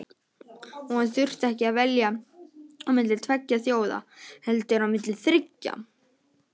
Og hann þurfti ekki að velja á milli tveggja þjóða heldur á milli þriggja.